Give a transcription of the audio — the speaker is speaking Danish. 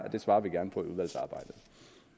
at det svarer vi gerne på